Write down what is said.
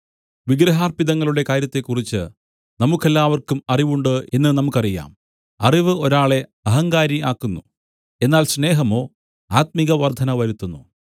വിഗ്രഹാർപ്പിതങ്ങളുടെ കാര്യത്തെക്കുറിച്ച് നമുക്കെല്ലാവർക്കും അറിവുണ്ട് എന്ന് നമുക്കറിയാം അറിവ് ഒരാളെ അഹങ്കാരി ആക്കുന്നു എന്നാൽ സ്നേഹമോ ആത്മികവർദ്ധന വരുത്തുന്നു